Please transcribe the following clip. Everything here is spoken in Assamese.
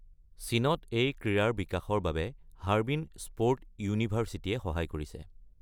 চীনত এই ক্ৰীড়াৰ বিকাশৰ বাবে হাৰবিন স্প’ৰ্ট ইউনিভাৰ্চিটিয়ে সহায় কৰিছে।